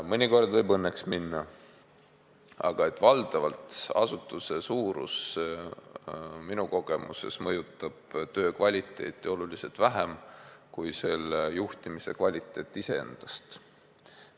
Mõnikord võib õnneks minna, aga valdavalt asutuse suurus minu kogemuste järgi mõjutab töö kvaliteeti oluliselt vähem kui selle juhtimise kvaliteet iseendast.